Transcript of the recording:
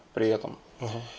при этом